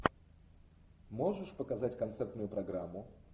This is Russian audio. можешь показать концертную программу